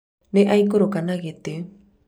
nĩ aikũrũka na gĩtĩ